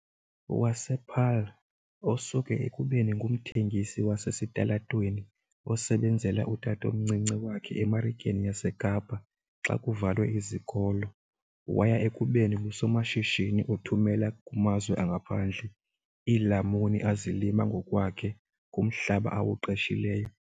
wasePaarl, osuke ekubeni ngumthengisi wasesitalatweni osebenzela utatomncinci wakhe eMarikeni yaseKapa xa kuvalwe izikolo waya ekubeni ngusomashishini othumela kumazwe angaphandle iilamuni azilima ngokwakhe kumhlaba awuqeshileyo.